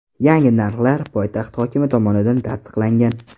Yangi narxlar poytaxt hokimi tomonidan tasdiqlangan.